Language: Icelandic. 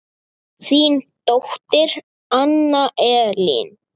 Þín dóttir Anna Elín.